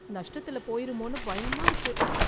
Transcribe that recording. நஷ்டத்துல போயிருமோன்னு பயமா இருக்கு